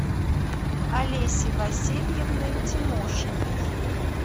олеси васильевны тимошиной